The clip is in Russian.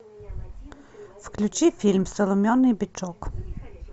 включи фильм соломенный бычок